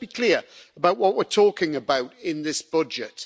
But let's be clear about what we're talking about in this budget.